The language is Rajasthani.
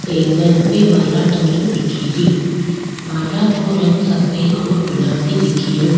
एंगल पे माला टंगी दिखेरी माला को रंग सफ़ेद और गुलाबी दिखेरो।